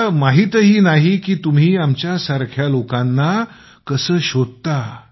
मला माहित नाही की तुम्ही आमच्यासारखे लोक कसे शोधता